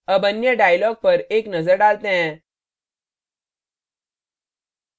अब अन्य dialogs पर एक नजर डालते हैं